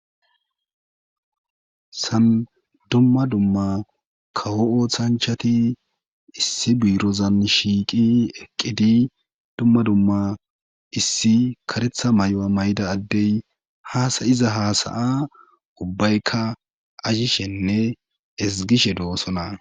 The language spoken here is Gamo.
san dumma dumma kawo oothanchati issi biirozan shiiqi eqqidi dumma dumma issi karetha mayoa mayda addey haasayiza haasaya ubbaykka azhishenne esgishe doosona